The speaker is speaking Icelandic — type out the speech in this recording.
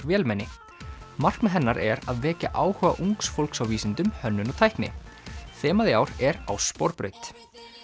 vélmenni markmið hennar er að vekja áhuga ungs fólks á vísindum hönnun og tækni þemað í ár er á sporbraut